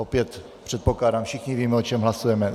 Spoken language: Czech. Opět předpokládám, všichni víme, o čem hlasujeme.